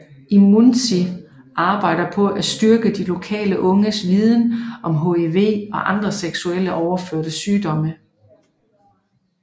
IMUNZI arbejde på at styrke de lokale unges viden om HIV og andre seksuelt overførte sygdomme